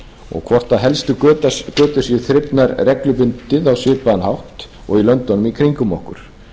og hvort helstu götur séu þrifnar reglubundið á svipaðan hátt og í löndunum í kringum okkur